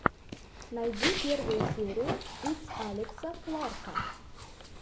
найди первую серию итс алекса кларка